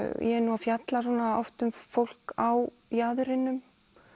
ég er nú að fjalla oft um fólk á jaðrinum